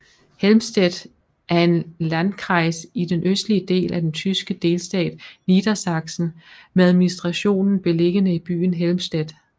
Helmstedt er en Landkreis i den østlige del af den tyske delstat Niedersachsen med administrationen beliggende i byen Helmstedt